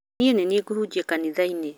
Niĩ nĩ niĩ ngũhunjia kanitha-inĩ